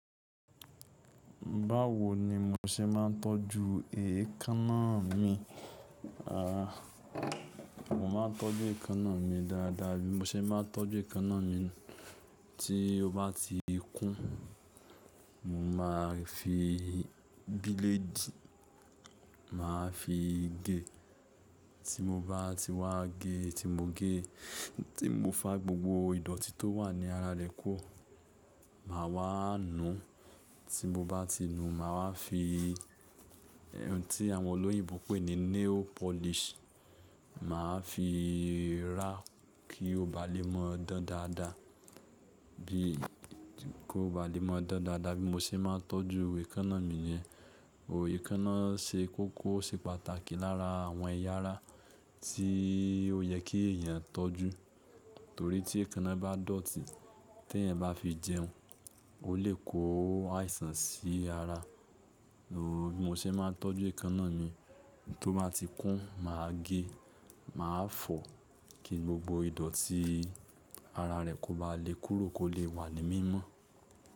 Báwo ni mo ṣe máa ń tọ́jú èékánná mi? Aà, mo máa ń tọ́jú èékánná mi dáadáa bí mo ṣe máa ń tọ́jú èékánná mi. Tí ó bá ti kún, mo máa fi bílédì, màá fi gé. Tí mo bá ti wá gé, tí mo gé, tí mo fá gbogbo ìdọ̀tí tó wà ní ara rẹ̀ kúrò, màá wá nu. Tí mo bá ti nu, màá wá fi ohun tí àwọn olóyìnbo ń pè ní nail polish, màá fi ràá kí ó ba lè mọ dán dáadáa. Bí kí ó ba lè mọ dán dáadáa bí mo ṣe máa ń tọ́jú èékánná mi ni. Ò éékánná ṣe kókó, ó ṣe pàtàkì lára àwọn ẹ̀yà ara tí ó yẹ kí èèyàn tọ́jú. Torí tí èékánná bá dọ̀tí, tí ẹ̀yin bá fi jẹun, ó lè kó àìsàn sí ara. Bí mo ṣe máa ń tọ́jú èékánná mi, tó bá ti kún, màá gé, màá fọ̀ kí gbogbo ìdọ̀tí ara rẹ̀ kó ba lè kúrò kó lè wà ní mímọ́